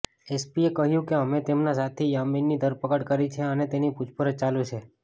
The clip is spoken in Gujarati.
એસપીએ કહ્યું કે અમે તેમના સાથી યામીનની ધરપકડ કરી છે અને તેની પૂછપરછ ચાલુ છે